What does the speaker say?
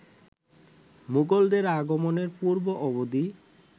মোগলদের আগমনের পূর্ব-অবধি